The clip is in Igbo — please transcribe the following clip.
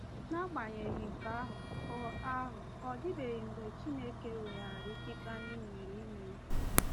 N’agbanyeghị nke ahụ, ọ ahụ, ọ dịbeghị mgbe Chineke weghaara ikike anyị nwere ime nhọrọ.